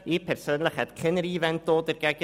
Ich persönlich hätte nichts dagegen einzuwenden.